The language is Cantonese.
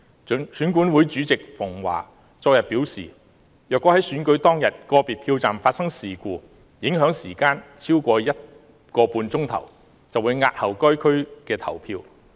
選舉管理委員會主席馮驊昨天表示，如果在選舉當天個別票站發生事故，影響時間超過 1.5 小時，便會押後該選區投票。